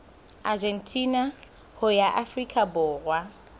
argentina ho ya afrika borwa